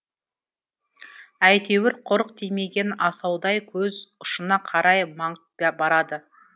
әйтеуір құрық тимеген асаудай көз ұшына қарай маңып барады